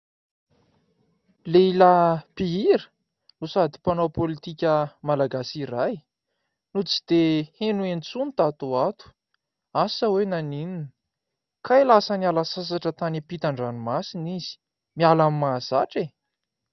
Lehilahy mpihira no sady mpanao politika malagasy iray no tsy dia heno intsony tato ho ato ; asa hoe naninona ? Kay lasa niala sasatra tany ampitan-dranomasina izy. Miala amin'ny mahazatra e !